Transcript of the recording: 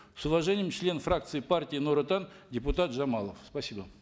с уважением член фракции партии нур отан депутат жамалов спасибо